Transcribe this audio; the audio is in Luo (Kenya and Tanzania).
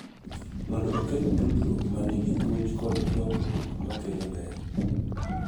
Mondo oket tudruok ma nigi puonj kod lokruok ma kelo ber.